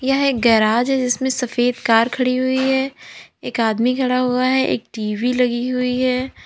यह गैराज है जिसमें सफेद कार खड़ी हुई है एक आदमी खड़ा हुआ है एक टी_वी लगी हुई है।